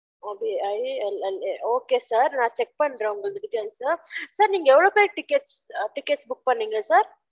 okay i l l a okay sir நான் check பன்றென் உங்க details sir நீங்க எவ்லொ பெர் ticket ticket book பன்னிங்க sir